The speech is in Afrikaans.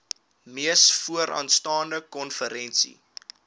mees vooraanstaande konferensie